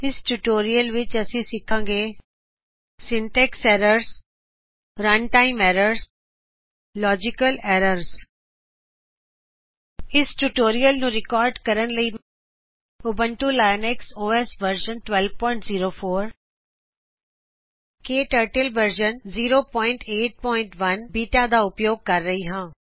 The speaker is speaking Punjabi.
ਇਸ ਟਿਯੂਟੋਰਿਅਲ ਵਿੱਚ ਅਸੀ ਸਿੱਖਾਗੇ ਸਿੰਟੈਕਸ ਐਰਰਜ਼ ਰਨਟਾਈਮ ਐਰਰਜ਼ ਅਤੇ ਲਾਜੀਕਲ ਐਰਰਜ਼ ਇਸ ਟਿਯੂਟੋਰਿਅਲ ਨੂੰ ਰਿਕਾਰਡ ਕਰਨ ਲਈ ਮੈਂ Ubuntu Linux OS version 1204 KTurtle version 081 beta ਦਾ ਉਪਯੋਗ ਕਰ ਰਹੀ ਹਾਂ